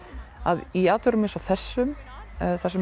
að í atburðum eins og þessum þar sem